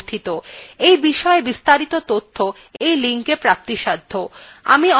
এই বিষয় বিস্তারিত তথ্য এই linkএ প্রাপ্তিসাধ্য